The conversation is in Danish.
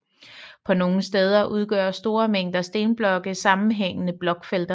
På nogle steder udgør store mængder stenblokke sammenhængende blokfelter